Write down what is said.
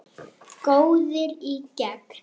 Góður í gegn.